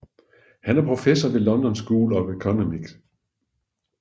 Han er professor ved London School of Economics